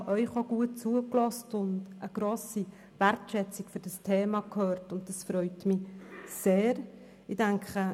Ich habe Ihnen gut zugehört und eine grosse Wertschätzung für dieses Thema gehört, was mich sehr freut.